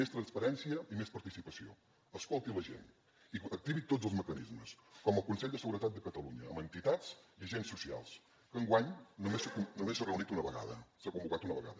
més transparència i més participació escolti la gent i activi tots els mecanismes com el consell de seguretat de catalunya amb entitats i agents socials que enguany només s’ha reunit una vegada s’ha convocat una vegada